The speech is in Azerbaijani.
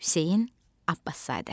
Hüseyn Abbaszadə.